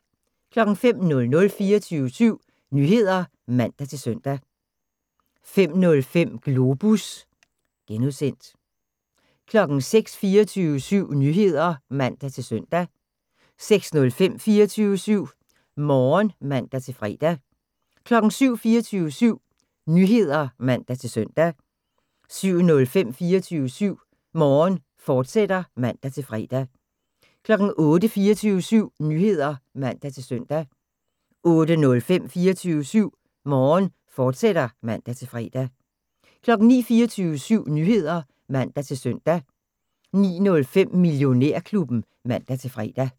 05:00: 24syv Nyheder (man-søn) 05:05: Globus (G) 06:00: 24syv Nyheder (man-søn) 06:05: 24syv Morgen (man-fre) 07:00: 24syv Nyheder (man-søn) 07:05: 24syv Morgen, fortsat (man-fre) 08:00: 24syv Nyheder (man-søn) 08:05: 24syv Morgen, fortsat (man-fre) 09:00: 24syv Nyheder (man-søn) 09:05: Millionærklubben (man-fre)